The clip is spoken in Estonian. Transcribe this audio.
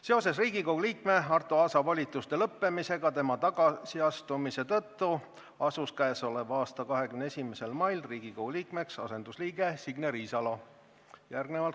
Seoses Riigikogu liikme Arto Aasa volituste lõppemisega tema tagasiastumise tõttu asus k.a 21. mail Riigikogu liikmeks asendusliige Signe Riisalo.